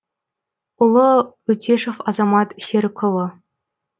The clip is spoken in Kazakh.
ұлы өтешов азамат серікұлы